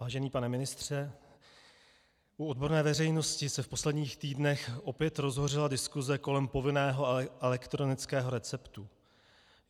Vážený pane ministře, u odborné veřejnosti se v posledních týdnech opět rozhořela diskuse kolem povinného elektronického receptu.